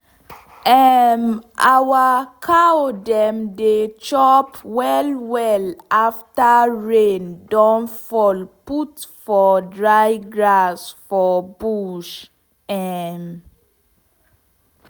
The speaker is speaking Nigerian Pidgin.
um our cow dem dey chop well well afta rain don fall put for dry grass for bush. um